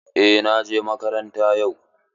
Eh na je makaranta yau.